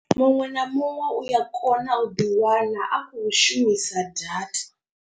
Muṅwe na muṅwe uya kona u ḓi wana a khou shumisa data.